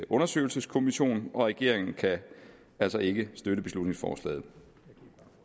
undersøgelseskommission og regeringen kan altså ikke støtte beslutningsforslaget